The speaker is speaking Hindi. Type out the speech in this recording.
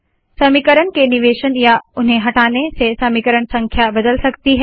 समीकरण के निवेशन या उन्हें हटाने से समीकरण संख्या बदल सकती है